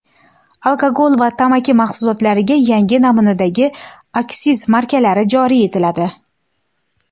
Alkogol va tamaki mahsulotlariga yangi namunadagi aksiz markalari joriy etiladi.